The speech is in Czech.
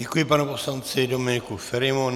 Děkuji panu poslanci Dominiku Ferimu.